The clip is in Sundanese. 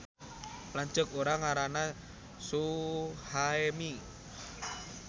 Lanceuk urang ngaranna Suhaemi